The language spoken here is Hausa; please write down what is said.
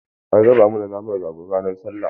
An raba mana naman rago ran sallah.